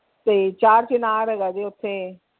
ਤੇ ਚਾਰ ਚਿਨਾਰ ਹੈਗਾ ਜੇ ਓਥੇ।